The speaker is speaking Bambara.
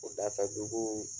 O dafɛ dugu